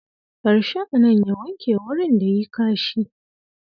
Bar shi a nan ya wanke wurin da yi kashi.